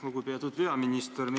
Lugupeetud peaminister!